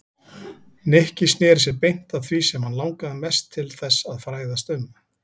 Nikki snéri sér beint að því sem hann langaði mest til þess að fræðast um.